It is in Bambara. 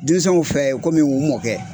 Denmisɛnw fɛ kɔmi u mɔkɛ.